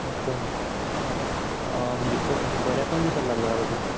म्हणजे पऱ्या पण दिसायला लागले का आता